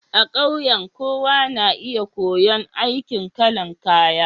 A ƙauye, kowa na iya koyon aikin kalan kaya.